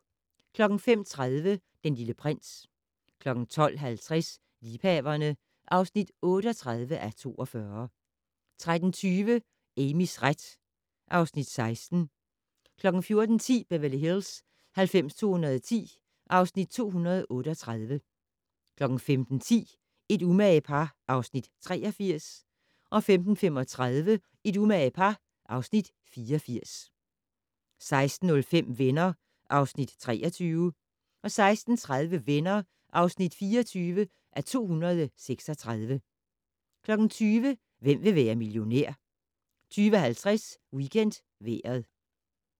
05:30: Den Lille Prins 12:50: Liebhaverne (38:42) 13:20: Amys ret (Afs. 16) 14:10: Beverly Hills 90210 (Afs. 238) 15:10: Et umage par (Afs. 83) 15:35: Et umage par (Afs. 84) 16:05: Venner (Afs. 23) 16:30: Venner (24:236) 20:00: Hvem vil være millionær? 20:50: WeekendVejret